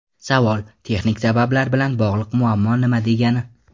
Savol: Texnik sabablar bilan bog‘liq muammo nima degani?